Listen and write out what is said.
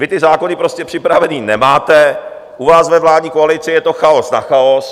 Vy ty zákony prostě připravené nemáte, u vás ve vládní koalici je to chaos na chaos.